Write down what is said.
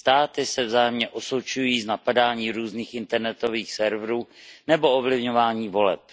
Státy se vzájemně osočují z napadání různých internetových serverů nebo ovlivňování voleb.